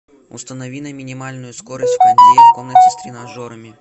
установи на минимальную скорость на кондее в комнате с тренажерами